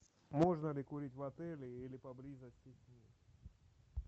можно ли курить в отеле или поблизости